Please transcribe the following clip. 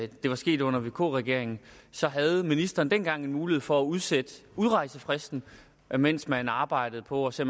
det var sket under vk regeringen så havde ministeren dengang en mulighed for at udsætte udrejsefristen mens man arbejdede på at se